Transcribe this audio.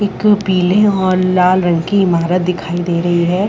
एक पीले और लाल रंग की इमारत दिखाई दे रही है।